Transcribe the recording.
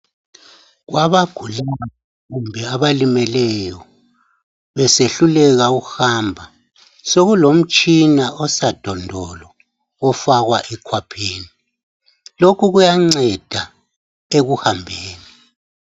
Kwabagulayo kumbe abalimeleyo besehluleka ukuhamba sokulomtshina osadondolo ofakwa ekhwapheni lokho kuyanceda ekuhambeni.